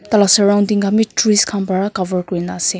talah surrounding khan bi trees khan para cover kurna ase.